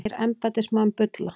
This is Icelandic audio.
Segir embættismann bulla